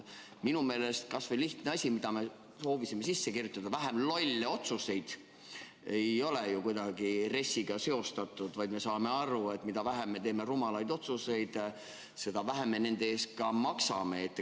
Minu meelest kas või see lihtne asi, mida me proovisime sisse kirjutada – vähem lolle otsuseid –, ei ole ju kuidagi RES-iga seostatud, vaid me saame aru, et mida vähem me rumalaid otsuseid teeme, seda vähem me nende eest maksame.